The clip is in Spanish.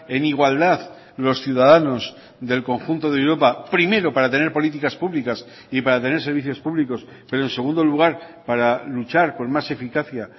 en igualdad los ciudadanos del conjunto de europa primero para tener políticas públicas y para tener servicios públicos pero en segundo lugar para luchar con más eficacia